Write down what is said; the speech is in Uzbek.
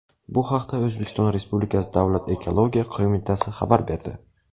Bu haqda O‘zbekiston Respublikasi Davlat ekologiya qo‘mitasi xabar berdi.